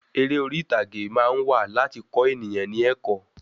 Eré orí ìtàgé máa ń wà láti kọ eniyan ni ẹ̀kọ́